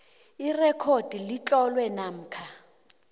irekhodi litloliwe namkha